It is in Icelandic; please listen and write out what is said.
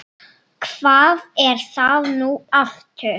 Hvað er það nú aftur?